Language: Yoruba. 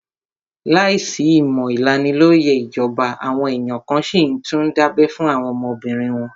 Láìsí ìmọ̀ ìlanilóyẹ̀ ìjọba, àwọn èèyàn kan n síi tún dábẹ́ fún àwọn ọmọbìnrin wọn